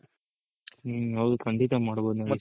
ಹ್ಮ್ ಹೌದು ಖಂಡಿತ ಮಾಡ್ಬೋದ್ ನಾಗೇಶ್ ಅವ್ರೆ